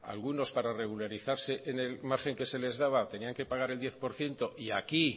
algunos para regularizarse en el margen que se les daba tenían que pagar el diez por ciento y aquí